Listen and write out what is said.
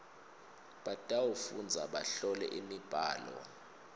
batawufundza bahlole imibhalo